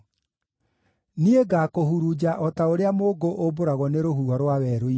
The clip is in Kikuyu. “Niĩ ngaakũhurunja o ta ũrĩa mũũngũ ũmbũragwo nĩ rũhuho rwa werũ-inĩ.